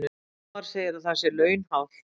Ómar segir að það sé launhált